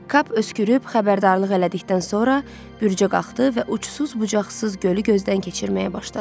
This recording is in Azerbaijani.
Kap öskürüb xəbərdarlıq elədikdən sonra bürcə qalxdı və uçsuz-bucaqsız gölü gözdən keçirməyə başladı.